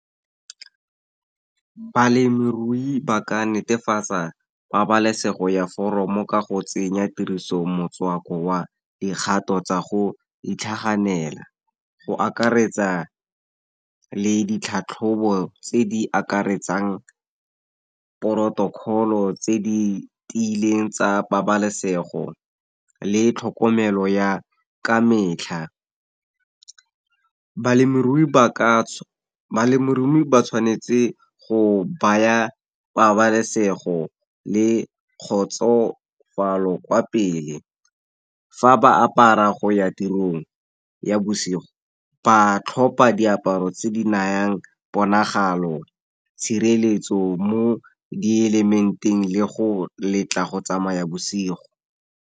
Balemirui ba ka netefatsa pabalesego ya foromo, ka go tsenya tiriso motswako wa dikgato tsa go itlhaganela, go akaretsa le ditlhatlhobo tse di akaretsang porotokolo tse di tiileng tsa pabalesego, le tlhokomelo ya ka metlha. Balemirui ba tshwanetse go baya pabalesego le kgotsofalo kwa pele, fa ba apara go ya tirong ya bosigo, ba tlhopa diaparo tse di nayang ponagalo, tshireletso mo di element-eng le go letla go tsamaya bosigo.